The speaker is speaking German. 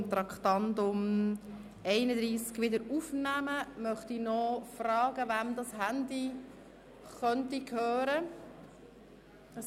Bevor wir die Beratung des Traktandums 31 wiederaufnehmen, möchte ich noch fragen, wem dieses Handy gehören könnte.